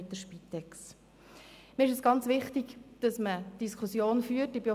Mir ist es sehr wichtig, dass man diese Themen hier anspricht.